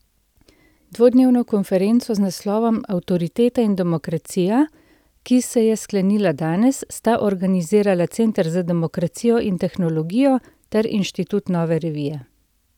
Dvodnevno konferenco z naslovom Avtoriteta in demokracija, ki se je sklenila danes, sta organizirala Center za demokracijo in tehnologijo ter Inštitut Nove revije.